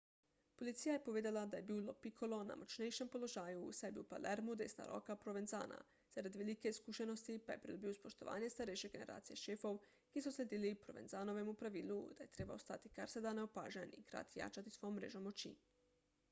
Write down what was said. policija je povedala da je bil lo piccolo na močnejšem položaju saj je bil v palermu desna roka provenzana zaradi velike izkušenosti pa je pridobil spoštovanje starejše generacije šefov ki so sledili provenzanovemu pravilu da je treba ostati kar se da neopažen in hkrati jačati svojo mrežo moči